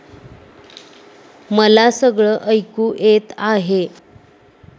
मला सगळं ऐकू येत आहे.